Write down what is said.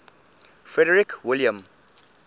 frederick william